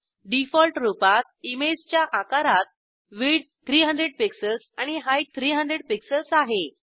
default रूपात इमेजच्या आकारात विड्थ 300 पिक्सेल्स आणि हाइट 300 पिक्सेल्स आहे